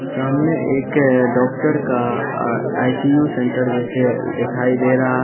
सामने एक डॉक्टर का आई_सी_यू सेंटर जैसे दिखाई दे रहा--